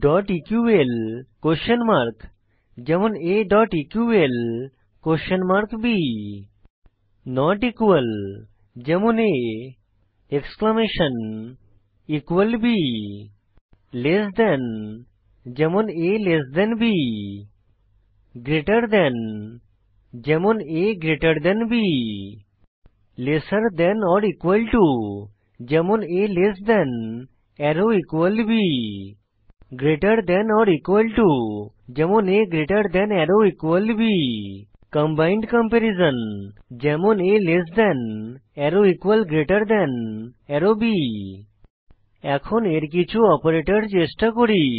dot EQL question mark যেমন aeqlb not equal যেমন a exclamation equal b less than যেমন a b greater than যেমন a b lesser than or equal to যেমন a less than or equal b greater than or equal to যেমন a greater than or equal b combined comparison যেমন a less than or equal greater than or b এখন এর কিছু operator চেষ্টা করি